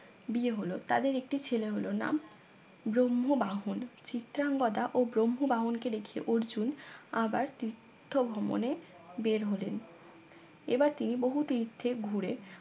বিয়ে হল তাদের একটি ছেলে হল নাম ব্রহ্মবাহন চিত্রাংগদা ও ব্রহ্মবাহন কে দেখে অর্জুন আবার তীর্থ ভ্রমণে বের হলেন এবার তিনি বহু তীর্থে ঘুরে